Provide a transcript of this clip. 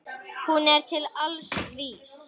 Hún er til alls vís.